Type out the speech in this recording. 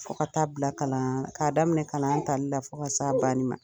Fo ka taa bila kalan k'a daminɛ kalan tali la fo ka s'a banni ma.